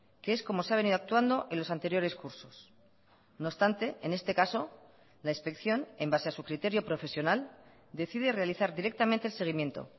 que es como se ha venido actuando en los anteriores cursos no obstante en este caso la inspección en base a su criterio profesional decide realizar directamente el seguimiento